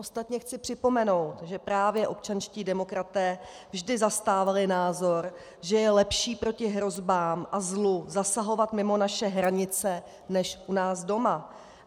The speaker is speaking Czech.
Ostatně chci připomenout, že právě občanští demokraté vždy zastávali názor, že je lepší proti hrozbám a zlu zasahovat mimo naše hranice než u nás doma.